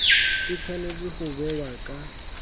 e tshwanetse go bewa ka